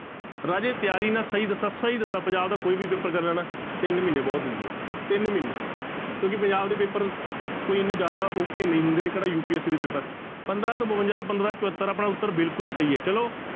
ਰਾਜੇ ਤਿਆਰੀ ਨਾ ਸਹੀ ਦੱਸਾਂ ਸਹੀ ਦੱਸਾਂ ਪੰਜਾਬ ਦਾ ਕੋਈ ਵੀ ਪੇਪਰ ਕਰਨਾ ਨਾ ਤਿੰਨ ਮਹੀਨੇ ਬਹੁਤ ਹੁੰਦੇ ਆ, ਤਿੰਨ ਮਹੀਨੇ ਕਿਉਂਕਿ ਪੰਜਾਬ ਦੇ ਪੇਪਰ ਕੋਈ ਇੰਨੇ ਜ਼ਿਆਦਾ ਔਖੇ ਨਹੀਂ ਹੁੰਦੇ ਕਿਹੜਾ UPSC ਦੇ ਪੇਪਰ, ਪੰਦਰਾਂ ਸੌ ਬਵੰਜਾ ਤੋਂ ਪੰਦਰਾਂ ਸੌ ਚਹੱਤਰ ਆਪਣਾ ਉੱਤਰ ਬਿਲਕੁਲ ਸਹੀ ਹੈ ਚਲੋ,